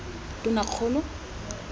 tonakgolo